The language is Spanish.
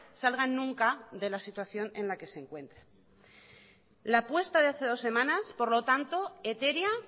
salgan nunca de la situación en la que se encuentran la apuesta de hace dos semanas por lo tanto etérea